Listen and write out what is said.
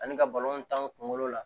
Ani ka kunkolo la